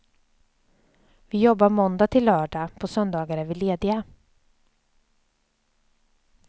Vi jobbar måndag till lördag, på söndagar är vi lediga.